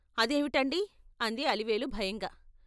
అదేవిటండి అంది అలివేలు భయంగా.